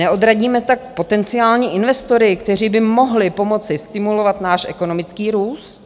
Neodradíme tak potenciální investory, kteří by mohli pomoci stimulovat náš ekonomický růst?